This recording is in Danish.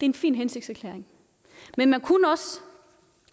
en fin hensigtserklæring men man kunne også